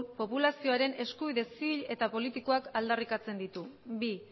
populazioaren eskubide zibil eta politikoak aldarrikatzen ditu bi